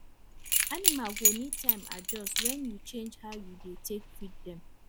animal go need time adjust when you change how you dey take feed dem